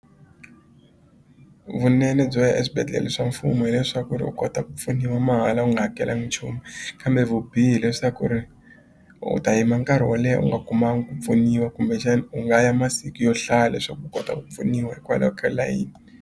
Vunene byo ya eswibedhlele swa mfumo hileswaku ri u kota ku pfuniwa mahala u nga hakelangi nchumu kambe vubihi leswaku ri u ta yima nkarhi wo leha u nga kumanga ku pfuniwa kumbe xani u nga ya masiku yo hlaya leswaku u kota ku pfuniwa hikwalaho ka layini.